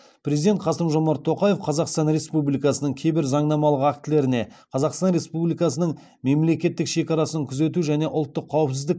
президент қасым жомарт тоқаев қазақстан республикасының кейбір заңнамалық актілеріне қазақстан республикасының мемлекеттік шекарасын күзету және ұлттық қауіпсіздік